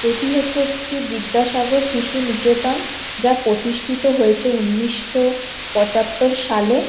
এটি হচ্ছে একটি বিদ্যাসাগর শিশুনিকেতন। যা প্রতিষ্ঠিত হয়েছে উনিশশো পঁচাত্তর সালে।